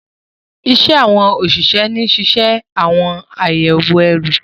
Iṣẹ́ àwọn òṣìṣẹ́ ni ṣíṣe àyẹ̀wò ẹrù